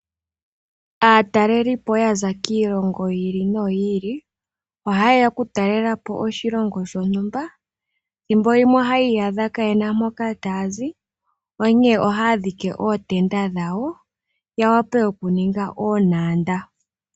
Aatalelipo yaza kiilongo yi ili noyi ili ohayeya kutalelapo oshilongo shontumba ethimbo limwe ohayi iyadha kayena mpoka taya zi onke ohaya dhiki ootenda dhawo yawpe okuninga oontanda.